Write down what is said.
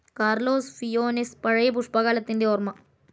Carlos ഫിയോനെസ് പഴയ പുഷ്പകാലത്തിൻ്റെ ഓര്മ